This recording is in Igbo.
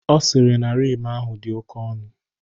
Ọ sịrị na Rim ahụ dị oke ọnụ.